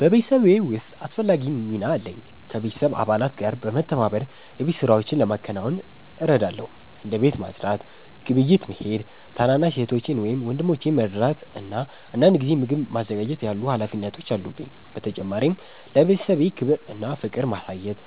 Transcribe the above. በቤተሰቤ ውስጥ አስፈላጊ ሚና አለኝ። ከቤተሰብ አባላት ጋር በመተባበር የቤት ሥራዎችን ለማከናወን እረዳለሁ። እንደ ቤት ማጽዳት፣ ግብይት መሄድ፣ ታናሽ እህቶቼን ወይም ወንድሞቼን መርዳት እና አንዳንድ ጊዜ ምግብ ማዘጋጀት ያሉ ሀላፊነቶች አሉብኝ። በተጨማሪም ለቤተሰቤ ክብር እና ፍቅር ማሳየት